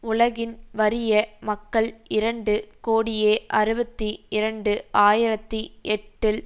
உலகின் வறிய மக்கள் இரண்டு கோடியே அறுபத்தி இரண்டு ஆயிரத்தி எட்டில்